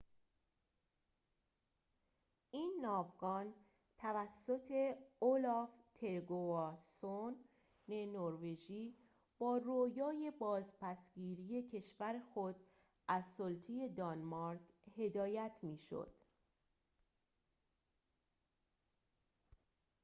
این ناوگان توسط اولاف تریگواسون نروژی با رویای بازپس گیری کشور خود از سلطه دانمارک هدایت می شد